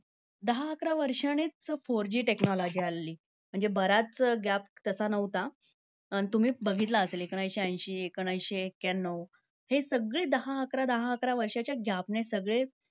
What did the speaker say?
दहा-अकरा वर्षांनीच four G technology आलेली. म्हणजे बऱ्याच gap त्याचा नव्हता. आणि तुम्ही बघितलं असेल एकोणीसशे ऐंशी, एकोणीसशे एक्याण्णव. हे सगळे दहा-अकरा, दहा-अकरा वर्षांच्या gap ने सगळेच